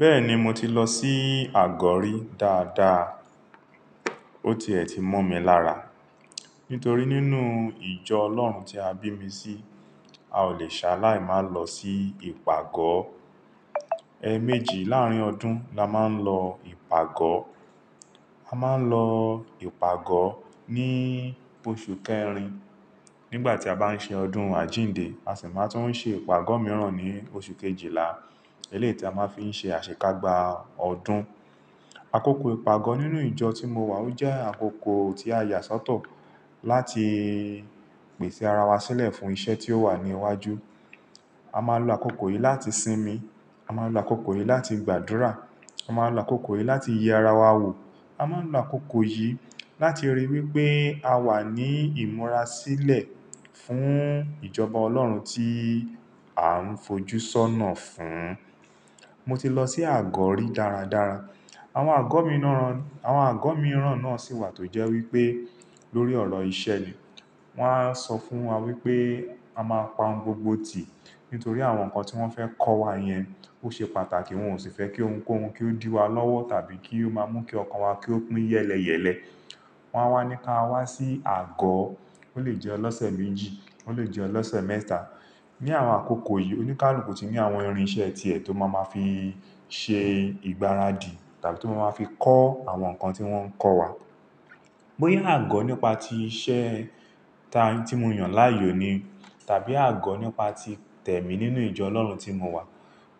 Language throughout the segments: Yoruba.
Bẹ́ẹ̀ni mo ti lọ sí àgọ́ rí dáadáa. Ó ti è tí mo mi lára. Nítorí nínú ìjọ Ọlọ́run tí a bí mi sí, a ò lè ṣá láì má lọ sí ìpàgọ́. Ẹ̀ẹ̀ méjì láàrín ọdún la máa ń lọ ìpàgọ́. A máa ń lọ ìpàgọ́ ní oṣù kẹrin. Nígbà tí a bá ń ṣe ọdún àjíǹde, a sì máa ń tún ṣe ìpàgọ́ mìíràn ní oṣù kejìlá. Eléyìí tí a máa fi ń ṣe àṣekágbá ọdún. Àkókò ìpàgọ́ nínú ìjọ tí mo wà ó jẹ́ àkókò tí a yà sọ́tọ̀ láti pèsè ara wa sílẹ̀ fún iṣẹ́ tí ó wà ní iwájú. A máa ń lo àkókò yìí láti sinmi. A máa ń lo àkókò yìí láti gbàdúrà. A máa ń lo àkókò yìí láti yí ara wa wò. A máa ń lo àkókò yìí láti ríi wí pé a wà ní ìmúra sílẹ̀ fún ìjọba Ọlọ́run tí à ń fojú sọ́nà fún. Mo ti lọ sí àgọ́ rí dáradára. Àwọn àgọ́ mìíràn, àwọn àgọ́ mìíràn náà sì wà tó jẹ́ wí pé lórí ọ̀rọ̀ ìṣe ni. Wọ́n á sọ fún wa wí pé a máa pa ohun gbogbo tì. Nítorí àwọn nǹkan tí wọ́n fẹ́ kọ́ wa yẹn ó ṣe pàtàkì. Wọn ò sì fẹ́ kí ohun kó hun, kí ó dí wa lọ́wọ́ tàbí kí ó máa mú kí ọkàn wa ki opin yẹ́lẹyẹ̀lẹ. Wọ́n wá ní ká wá sí àgọ́. Ó lè jẹ́ ọlọ́sẹ̀ méjì, ó lè jẹ́ ọlọ́sẹ̀ mẹ́ta. Ní àwọn àkókò yìí, oníkálùkù ti ní àwọn irinṣẹ́ tiẹ̀ tó máa ma fi ṣe ìgbáradì tàbí tó máa ma fi kọ́ àwọn nǹkan tí wọ́n ń kọ́ wa. Bóyá àgọ́ nípa ti iṣẹ́ ta tí mo yàn láàyò ni tàbí àgọ́ nípa ti tẹ̀mí nínú ìjọ Ọlọ́run tí mo wà,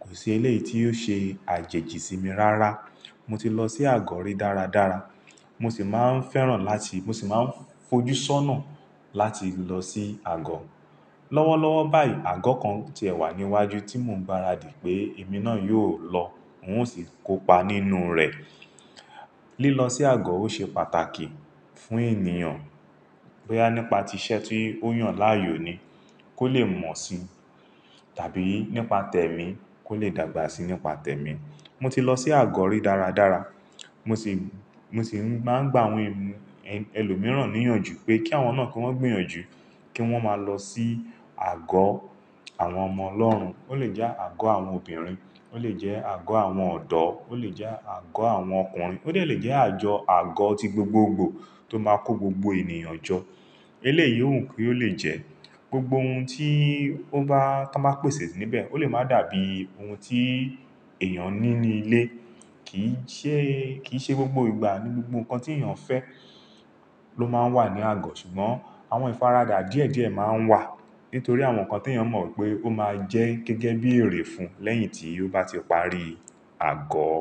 kò sí eléyìí tí yóò ṣe àjèjì sí mi rárá. Mo ti lọ sí àgọ́ rí dáradára. Mo sì máa ń fẹ́ràn láti-- mo sì máa ń fojú sọ́nà láti lọ sí àgọ́. Lọ́wọ́lọ́wọ́ báyìí, àgọ́ kan ti ẹ̀ wà ní iwájú tí mo ń gbáradì pé èmi náà yóò lọ. N ò sì kópa nínú rẹ̀. Lílọ sí àgọ́ ó ṣe pàtàkì fún ènìyàn. Bóyá nípa ti iṣẹ́ tí ó yàn láàyò ni kó lè mọ̀ si tàbí nípa tẹ̀mí kó lè dàgbà síi nípa tẹ̀mí. Mo ti lọ sí àgọ́ rí dáradára. Mo sì, mo sì máa ń gba àwọn ẹm- ẹlòmíràn níyànjú pé kí àwọn náà kí wọ́n gbìyànjú kí wọ́n máa lọ sí àgọ́ àwọn ọmọ Ọlọ́run. Ó lè jẹ́ àgọ́ àwọn obìnrin, ó lè jẹ́ àgọ́ àwọn ọ̀dọ́, ó lè jẹ́ àgọ́ àwọn ọkùnrin, ó lè jẹ́ àjọ àgọ́ ti gbogbogbò tó máa kó gbogbo ènìyàn jọ. Eléyìí òún kí ó lè jẹ́. Gbogbo ohun tí ó bá, tí wọ́n bá pèsè sí níbẹ̀ ó lè máa dàbí ohun tí èèyàn ní ní ilé. Kì í ṣe, kì í ṣe gbogbo ìgbà ni gbogbo nǹkan tí èèyàn fẹ́ ló máa ń wà ní àgọ́. Ṣùgbọ́n àwọn ìfaradà díẹ̀díẹ̀ máa ń wà nítorí àwọn nǹkan tí èèyàn mọ̀ pé ó máa jẹ́ gẹ́gẹ́ bí èrè fún lẹ́yìn tí ó bá ti parí àgọ́.